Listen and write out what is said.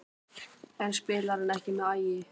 En spilar hann ekki með Ægi?